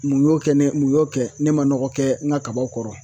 Mun y'o kɛ ne mun y'o kɛ ne ma nɔgɔ kɛ n ka kabaw kɔrɔ